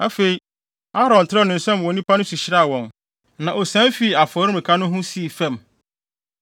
Afei, Aaron trɛw ne nsam wɔ nnipa no so hyiraa wɔn, na osian fii afɔremuka no ho sii fam.